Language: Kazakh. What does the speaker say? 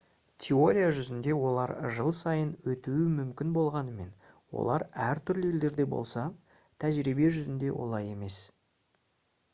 теория жүзінде олар жыл сайын өтуі мүмкін болғанымен олар әртүрлі елдерде болса тәжірибе жүзінде олай емес